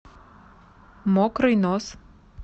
мокрый нос